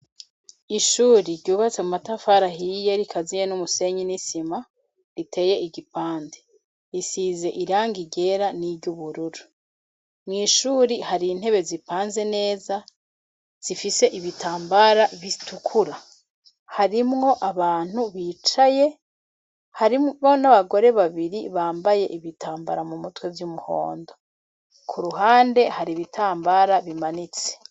Ishure ryubatse mu matafari ahiye rikaziye n'umusenyi n'isima riteye igipande isize irangi ryera n'iry'ubururu. Mwishuri hari intebe zipanze neza zifise ibitambara bitukura harimwo abantu bicaye harimo n'abagore babiri bambaye ibitambara mu mutwe vy'umuhondo. Ku ruhande hari ibitambara bimanitse..